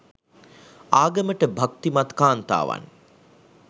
ආගමට භක්‌තිමත් කාන්තාවන්